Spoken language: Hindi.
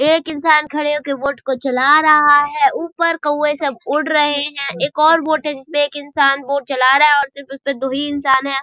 एक इंसान खड़े होकर बोट को चला रहा है ऊपर कौवे सब उड़ रहे है एक और बोट है जिसमे एक इंसान बोट चला रहा है और सिर्फ उस पे दो ही इंसान है।